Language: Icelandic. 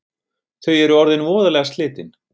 Þau eru orðin voðalega slitin